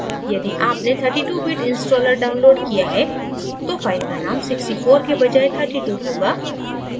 यदि आपने 32 bit installer downloaded किया है तो file का name 64 के बजाए 32 होगा